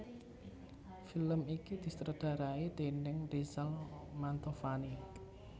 Film iki disutradharai déning Rizal Mantovani